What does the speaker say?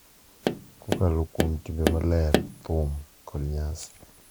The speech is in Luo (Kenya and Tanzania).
Kokalo kuom timbe maler, thum, kod nyasi,